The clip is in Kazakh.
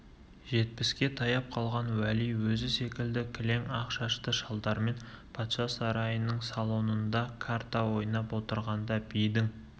жетпіске таяп қалған уәли өзі секілді кілең ақ шашты шалдармен патша сарайының бір салонында карта ойнап отырғанда бидің